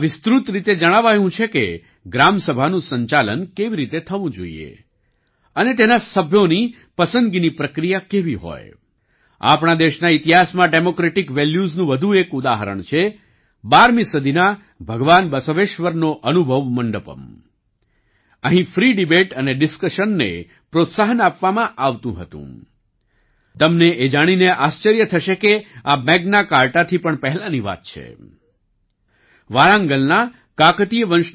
તેમાં વિસ્તૃત રીતે જણાવાયું છે કે ગ્રામસભાનું સંચાલન કેવી રીતે થવું જોઈએ અને તેના સભ્યોની પસંદગીની પ્રક્રિયા કેવી હોય